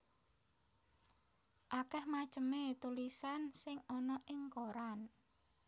Akèh macemé tulisan sing ana ing koran